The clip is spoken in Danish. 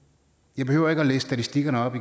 jeg behøver ikke læse statistikkerne op